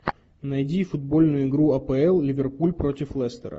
найди футбольную игру апл ливерпуль против лестера